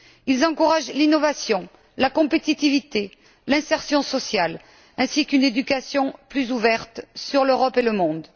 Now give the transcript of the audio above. Ils encouragent l'innovation, la compétitivité, l'insertion sociale ainsi qu'une éducation plus ouverte sur l'Europe et le monde.